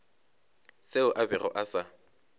seo a bego a sa